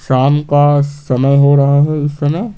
शाम का समय हो रहा है इस समय।